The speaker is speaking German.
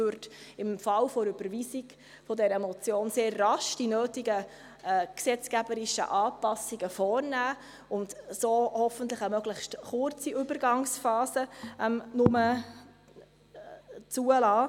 Sie würde, im Falle einer Überweisung dieser Motion sehr rasch die nötigen gesetzgeberischen Anpassungen vornehmen und damit hoffentlich nur eine möglichst kurze Übergangsphase zulassen.